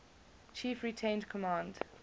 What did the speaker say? chief retained command